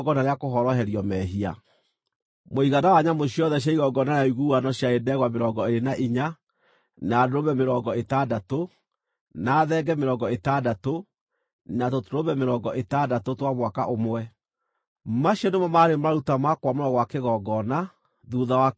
Mũigana wa nyamũ ciothe cia igongona rĩa ũiguano ciarĩ ndegwa mĩrongo ĩĩrĩ na inya, na ndũrũme mĩrongo ĩtandatũ, na thenge mĩrongo ĩtandatũ, na tũtũrũme mĩrongo ĩtandatũ twa mwaka ũmwe. Macio nĩmo maarĩ maruta ma kwamũrwo gwa kĩgongona thuutha wa kĩarĩkia gũitĩrĩrio maguta.